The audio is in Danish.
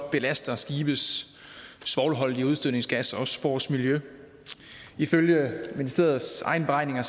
belaster skibes svovlholdige udstødningsgasser også vores miljø ifølge ministeriets egne beregninger